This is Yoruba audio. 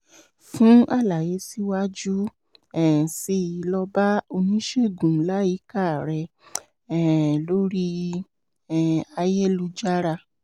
fún àlàyé síwájú um síi lọ bá oníṣègùn láyíká rẹ um lórí um ayélujára